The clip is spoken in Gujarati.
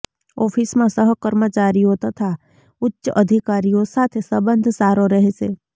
ઓફિસમાં સહકર્મચારીઓ તથા ઉચ્ચ અધિકારીઓ સાથે સંબંધ સારો રહેશે